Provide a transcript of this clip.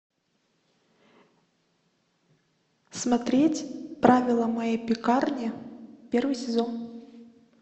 смотреть правила моей пекарни первый сезон